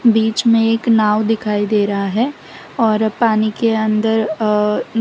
बीच में एक नाव दिखाई दे रहा है और पानी के अंदर अ--